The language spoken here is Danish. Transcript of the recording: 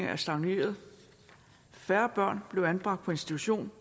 er stagneret færre børn blev anbragt på institution